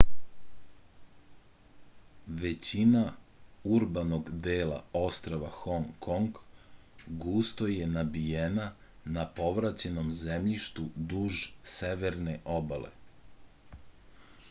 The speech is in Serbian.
većina urbanog dela ostrva hong kong gusto je nabijena na povraćenom zemljištu duž severne obale